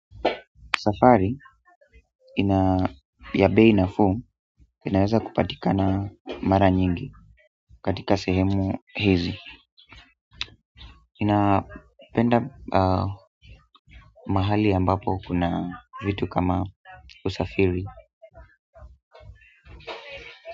Safari ina ya bei nafuu inaweza kupatika na mara nyingi katika sehemu hizi napenda mahali ambapo kuna vitu kama usafiri.